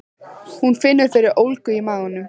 Hún finnur fyrir ólgu í maganum.